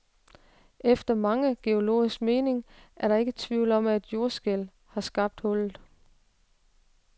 Efter mange geologers mening er der ikke tvivl om, at et jordskælv har skabt hullet.